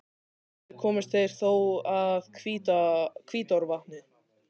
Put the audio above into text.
Aldrei komust þeir þó að Hvítárvatni.